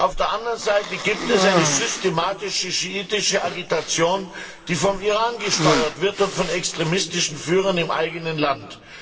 Auf der anderen Seite gibt es eine systematische schiitische Agitation, die vom Iran gesteuert wird und von extremistischen Führern im eigenen Land.